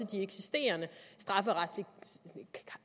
de eksisterende